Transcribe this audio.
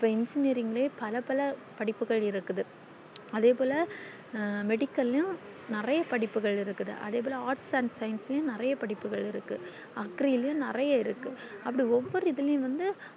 இப்போ engineering ல்ல பல பல படிப்புகள் இருக்குது அதே போல medical ளையும் நெறைய படிப்புகள்இருக்குது அதே போல arts and science ளையும் நெறைய படிப்புகள்இருக்கு agree ளையும் நெறைய இருக்கு அது போல ஒவ்வொரு இதுலையும்